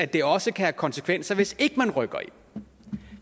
det også kan have konsekvenser hvis man ikke rykker ind